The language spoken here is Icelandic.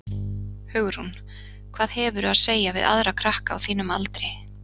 Hugrún: Hvað hefurðu að segja við aðra krakka á þínum aldri?